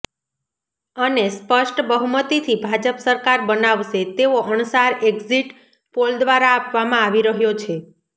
અને સ્પષ્ટ બહુમતીથી ભાજપ સરકાર બનાવશે તેવો અણસાર એક્ઝીટ પોલ દ્વારા આપવામાં આવી રહ્યો છે